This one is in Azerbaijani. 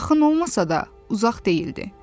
Bu yaxın olmasa da, uzaq deyildi.